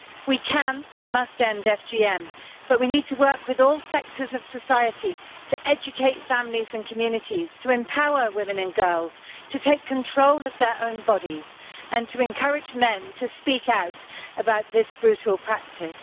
We can and must end FGM, but we need to work with all sectors of society in order to educate families and communities, to empower women and girls to take control of their own bodies, and to encourage men to speak out about this brutal practice.